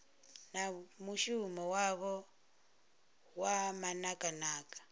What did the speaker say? na mushumo wavho wa manakanaka